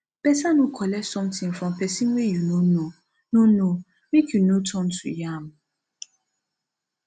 beta no collect something from pesin wey you no know no know make you no turn to yam